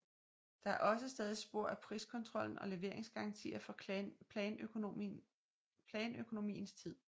Der er også stadig spor af priskontrollen og leveringsgarantier fra planøkonomiens tid